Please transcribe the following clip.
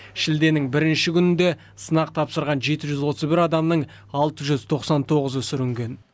шілденің бірінші күнінде сынақ тапсырған жеті жүз отыз бір адамның алты жүз тоқсан тоғызы сүрінген